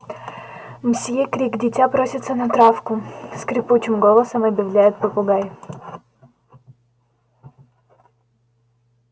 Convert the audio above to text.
мсьё крик дитя просится на травку скрипучим голосом объявляет попугай